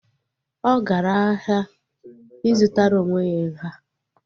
Ọ gara ahịa ị zụtara onwe ya nha